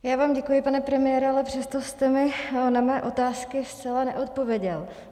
Já vám děkuji, pane premiére, ale přesto jste mi na mé otázky zcela neodpověděl.